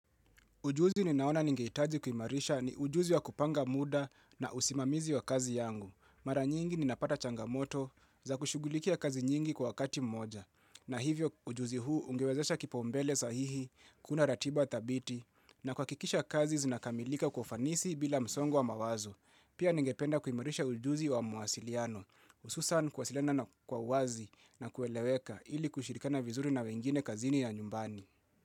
Ujuzi ninaona ningehitaji kuimarisha ni ujuzi wa kupanga muda na usimamizi wa kazi yangu. Mara nyingi ninapata changamoto za kushugulikia kazi nyingi kwa wakati mmoja. Na hivyo ujuzi huu ungewezesha kipaumbele sahihi, kuunda ratiba thabiti, na kuhakikisha kazi zinakamilika kwa ufanisi bila msongo wa mawazo. Pia ningependa kuimarisha ujuzi wa mawasiliano, hususan kuwasiliana na kwa uwazi na kueleweka ili kushirikana vizuri na wengine kazini na nyumbani.